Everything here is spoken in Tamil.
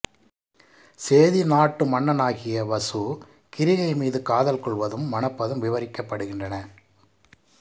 சேதி நாட்டு மன்னனாகிய வசு கிாிகை மீது காதல் கொள்வதும் மணப்பதும் விவாிக்கப்படுகின்றன